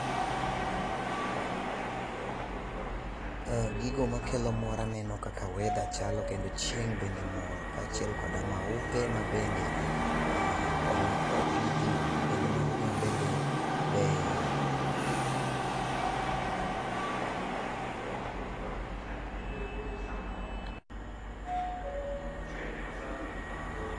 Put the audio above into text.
Eeeh, gigo makelo mor aneno kaka weather chalo kendo chieng' bende mor kachiel koda maupe ma bende opidhi kendo maupe mabende beyo.